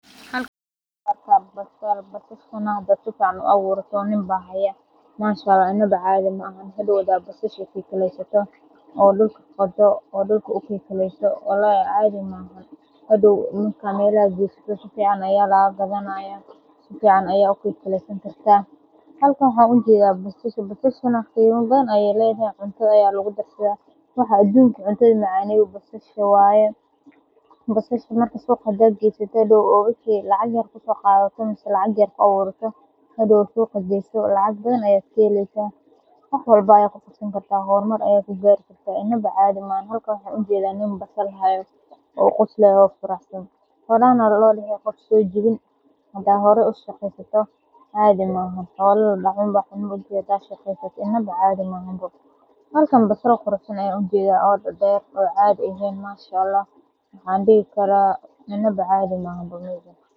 Halkan waa basal la abure basashan m.aa inawa cadhi mahan, basasha waxaa cuntaada macaneyo waa ayaada, halkan basal aad uweyn ayan ujeeda waxan dihi karaa inaba cadhi maaha.